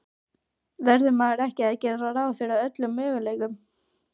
Verður maður ekki að gera ráð fyrir öllum möguleikum?